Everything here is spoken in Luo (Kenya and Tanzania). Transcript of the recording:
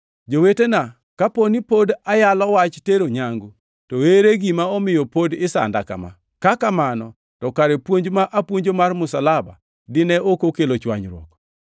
Jowetena, kaponi pod ayalo wach tero nyangu, to ere gima omiyo pod isanda kama? Ka kamano to kare puonj ma apuonjo mar msalaba dine ok okelo chwanyruok.